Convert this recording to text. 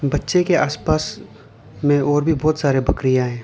बच्चे के आसपास में और भी बहुत सारे बकरियां है।